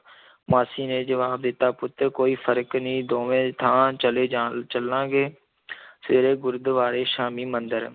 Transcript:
ਮਾਸੀ ਨੇ ਜਵਾਬ ਦਿੱਤਾ, ਪੁੱਤਰ ਕੋਈ ਫ਼ਰਕ ਨੀ ਦੋਵੇਂ ਥਾਂ ਚਲੇ ਜਾਂ ਚੱਲਾਗੇ ਸਵੇਰੇ ਗੁਰਦਵਾਰੇ, ਸ਼ਾਮੀਂ ਮੰਦਰ।